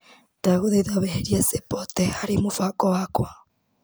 Ndagũthaitha weherie Sĩpote harĩ mũbango wakwa.